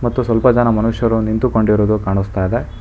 ಮತ್ತು ಸ್ವಲ್ಪ ಜನ ಮನುಷ್ಯರು ನಿಂತುಕೊಂಡಿರುವುದು ಕಾನಸ್ತಾ ಇದೆ.